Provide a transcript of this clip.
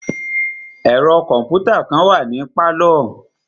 Ẹ̀ro kọ̀mpútà kàn wà ní pálọ̀.